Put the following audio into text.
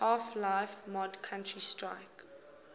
half life mod counter strike